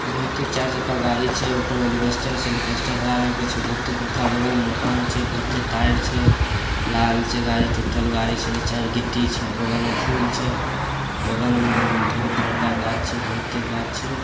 बहुते चार चक्का गाड़ी छै ऊपर एलवेस्टर छै एलवेस्टर हरा कलर के छै बहुते बड़का बगल मे मकान छै बहुते तार छै लाल छै गाड़ी टूटल गाड़ी छै नीचा र गिट्टी छै बगल में फूल छै बगल में उम्म बहुत बड़का गाछ छै बहुते गाछ छै।